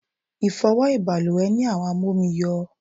Ifowo baluwe ni àwọn amomi yo